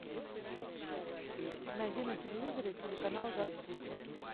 найди на телевизоре телеканал жар птица